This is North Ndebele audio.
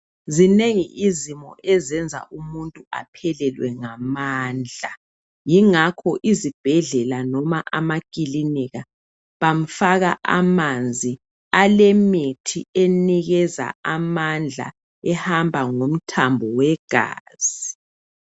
Zinengi izimo ezenza umuntu aphelelwe ngamandla. Yingakho izibhedlela noma amakilinika bamfaka amanzi alemithi enikeza amandla ehamba ngomthambo wegazi.